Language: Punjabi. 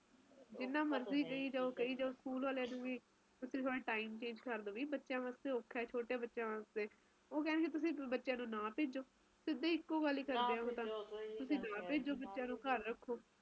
ਇਹ ਗੱਲ ਤਾ ਹੈ ਪਰ ਇੱਕਤਾ ਇਹ ਵੀ ਗੱਲ ਹੈ ਗਈ ਕਿ ਮੀਹ ਜਦੋ ਵੱਧ ਪੈਂਦਾ ਹੈ ਆਪਣੇ ਇਲਾਕਿਆਂ ਚ ਆਪਾ ਜਦੋ ਕਿਹਨੇ ਆ ਇੰਨਾ ਨਹੀਂ ਹੇਗਾ